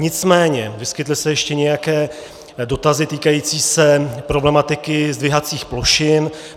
Nicméně vyskytly se ještě nějaké dotazy týkající se problematiky zdvihacích plošin.